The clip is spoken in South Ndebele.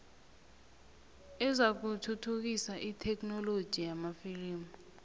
ezakuthuthukisa itheknoloji yamalimi